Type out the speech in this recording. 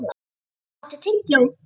Silvía, áttu tyggjó?